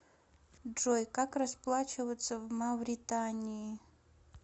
джой как расплачиваться в мавритании